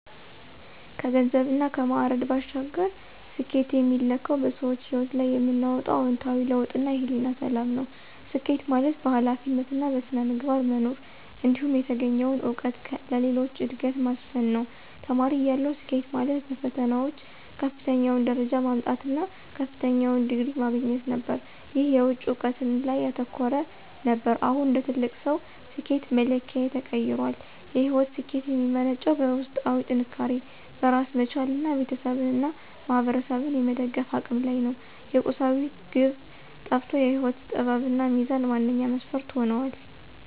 ከገንዘብና ከማዕረግ ባሻገር፣ ስኬትን የሚለካው በሰዎች ሕይወት ላይ የምናመጣው አዎንታዊ ለውጥና የሕሊና ሰላም ነው። ስኬት ማለት በኃላፊነትና በሥነ ምግባር መኖር፣ እንዲሁም የተገኘውን እውቀት ለሌሎች ዕድገት ማስፈን ነው። ተማሪ እያለሁ፣ ስኬት ማለት በፈተናዎች ከፍተኛውን ደረጃ ማምጣት እና ከፍተኛውን ዲግሪ ማግኘት ነበር። ይህ የውጭ እውቅና ላይ ያተኮረ ነበር። አሁን እንደ ትልቅ ሰው፣ ስኬት መለኪያዬ ተቀይሯል። የሕይወት ስኬት የሚመነጨው በውስጣዊ ጥንካሬ፣ በራስ መቻልና ቤተሰብንና ማኅበረሰብን የመደገፍ አቅም ላይ ነው። የቁሳዊነት ግብ ጠፍቶ የሕይወት ጥበብና ሚዛን ዋነኛ መስፈርት ሆነዋል።